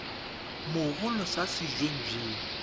mogolo sa se weng eng